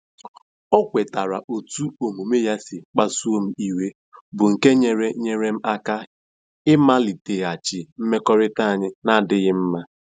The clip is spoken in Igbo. O kwetara otú omume ya si kpasuo m iwe, bụ́ nke nyeere nyeere m aka ịmaliteghachi mmekọrịta anyị na-adịghị mma.